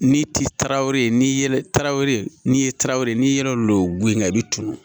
N'i ti taarawele n'i ye tarawele n'i ye tarawere n'i ye lo lo lolo go in i bi turu